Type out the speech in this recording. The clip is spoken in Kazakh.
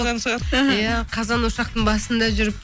иә қазан ошақтың басында жүріп